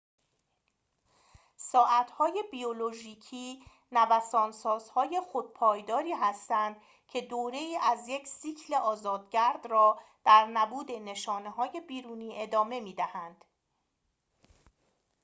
ساعت‌های بیولوژیکی نوسان‌سازهای خودپایداری هستند که دوره‌ای از یک سیکل آزاد‌گرد را در نبود نشانه‌های بیرونی ادامه می‌دهند